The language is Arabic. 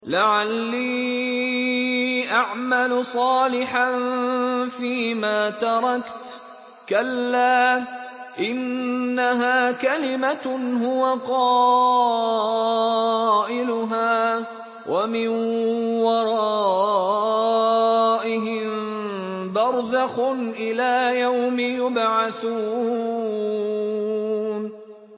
لَعَلِّي أَعْمَلُ صَالِحًا فِيمَا تَرَكْتُ ۚ كَلَّا ۚ إِنَّهَا كَلِمَةٌ هُوَ قَائِلُهَا ۖ وَمِن وَرَائِهِم بَرْزَخٌ إِلَىٰ يَوْمِ يُبْعَثُونَ